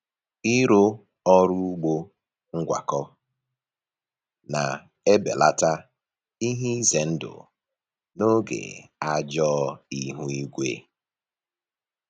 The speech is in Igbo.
Ịrụ ọrụ ugbo ngwakọ na-ebelata ihe ize ndụ n’oge ajọ ihu igwe.